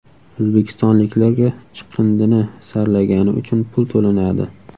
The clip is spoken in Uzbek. O‘zbekistonliklarga chiqindini saralagani uchun pul to‘lanadi .